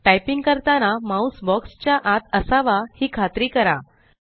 typing करताना mouse box च्या आत असावा ही खात्री करा